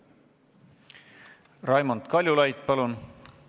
Raimond Kaljulaid, palun!